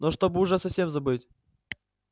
но чтобы уже совсем забыть